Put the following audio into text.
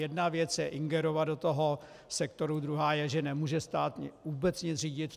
Jedna věc je ingerovat do toho sektoru, druhá je, že nemůže stát vůbec nic řídit.